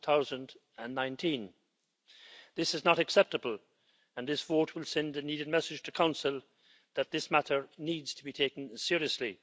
2019. This is not acceptable, and this vote will send a needed message to the Council that this matter needs to be taken seriously.